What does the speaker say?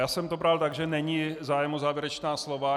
Já jsem to bral tak, že není zájem o závěrečná slova.